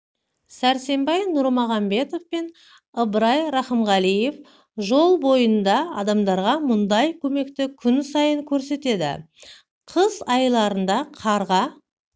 сәрсенбай нұрмағамбетов пен ыбырай рақымғалиев жол бойында адамдарға мұндай көмекті күн сайын көрсетеді қыс айларында қарға